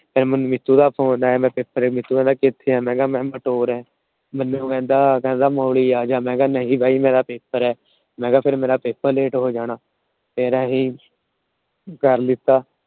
ਫੇਰ ਮੈਨੂੰ ਮੀਤੁ ਦਾ Phone ਆਇਆ। ਮੈ Paper ਮੀਤੁ ਆਉਂਦਾ ਕਿੱਥੇ ਏ? ਮੈ ਕਿਹਾ ਮੈ ਆ ਮੈਨੂੰ ਕਹਿੰਦਾ ਆ ਜਾ। ਮੈ ਕਿਹਾ ਨਹੀਂ ਬਾਈ ਮੇਰਾ Paper ਆ ਫਿਰ ਮੇਰਾ PaperLate ਹੋ ਜਾਣਾ। ਫਿਰ ਅਸੀਂ ਕਰ ਲਿੱਤਾ।